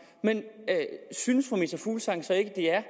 af synes fru meta fuglsang så ikke det er